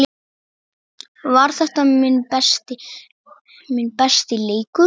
Var þetta minn besti leikur?